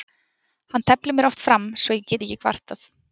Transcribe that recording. Hann teflir mér oft fram svo ég get ekki kvartað.